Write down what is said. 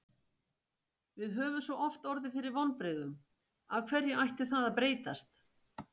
Við höfum svo oft orðið fyrir vonbrigðum, af hverju ætti það að breytast?